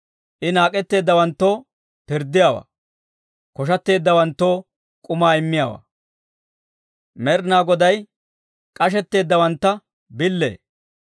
I naak'etteeddawanttoo pirddiyaawaa; koshateeddawanttoo k'umaa immiyaawaa. Med'inaa Goday k'ashetteeddawantta billee;